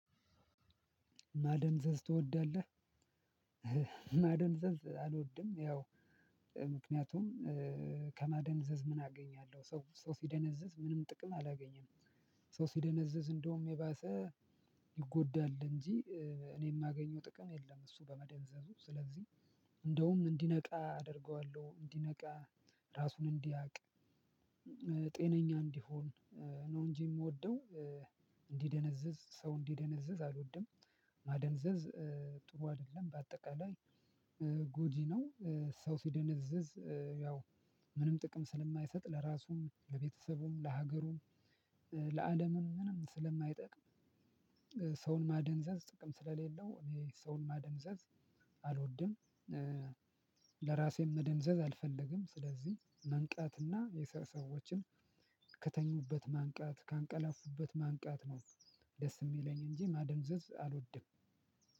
ማደንዘዝ ትወዳለህ? ማደንዘዝ አልወድም ያው ምክንያቱም ከማደንዘዝ ምን አገኛለሁ ሰው ሲደነዝዝ ምንም ጥቅም አላገኘም። ሰው ሲደነዘዝ እንደውም የባሰ ይጎዳል። እንጂ እኔ የማገኘው ጥቅም የለም። እሱ በመደንዘዙ ስለዚህ እንደውም እንዲነቃ አደርገዋለሁ እንዲነቃ ራሱን እንዲያቅ። ጤነኛ እንዲሆን ነው እንጂ የምወደው እንዲደነዝዝ ሰው እንዲደነዝዝ አልወድም። ማደንዘዝ ጥሩ አይደለም በአጠቃላይ ጎጂ ነው። ሰው ሲደነዝዝ ያው ምንም ጥቅም ስለማይሰጥ ለራሱም ለቤተሰቡም ለሀገሩም ለአለምም ምንም ስለማይጠቅ። ሰውን ማደንዘዝ ጥቅም ስለሌለው እኔ ሰውን ማደንዘዝ አልወድም። ለራሴም መደንዘዝ አልፈልግም ስለዚህ መንቃትና የሰዎችን ከተኙበት ማንቃት ካንቀላፉበት ማንቃት ነው። ደስ የሚለኝ እንጂ ማደንዘዝ አልወድም።